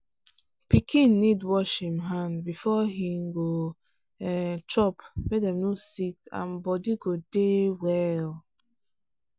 pikin need wash him hand before he go um chop make dem no sick and body go dey well.